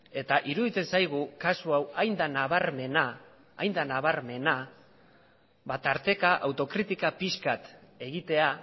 iruditzen zaigu kasu hau hain da nabarmena tarteka autokritika pixka bat egitea